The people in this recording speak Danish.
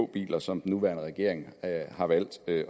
biler som den nuværende regering har valgt at